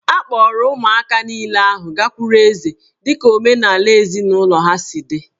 A kpọọrọ ụmụaka niile ahụ gakwuru eze dị ka omenala ezinụlọ ha si dị